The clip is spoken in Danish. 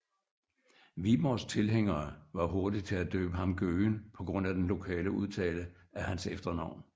Viborgs tilhængere var hurtige til at døbe ham Gøgen på grund af den lokale udtale af hans efternavn